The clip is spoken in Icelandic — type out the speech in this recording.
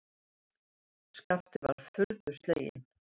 Skapti var furðu sleginn.